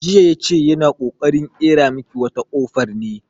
Jiya ya ce yana ƙoƙarin ƙera miki wata kofar ne.